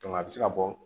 a bɛ se ka bɔ